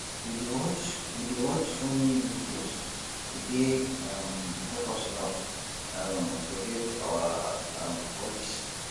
we dey watch we dey watch funny videos e dey um help us laugh um forget our um worries